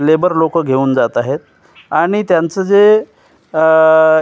labour लोकं घेऊन जात आहेत आणि त्यांचं जे अ --